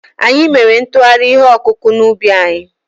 Anyị mere nkụgharị ihe ọkụkụ̀ n'ubi anyị.